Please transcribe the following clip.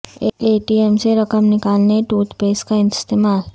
اے T M سے رقم نکالنے ٹوتھ پیکس کا استعمال